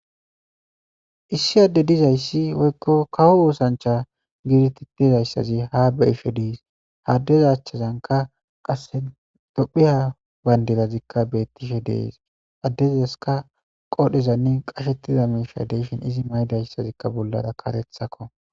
Issi adde dizayssi oykko kawo oosancha giidititedayssazi haa beishe diis haddeza achchazanka qasse dophiya bayndedazikka beettishe dees addezeska qodhezanne qashettida miisha deeshin izi maydayssazikka bollara karethakko.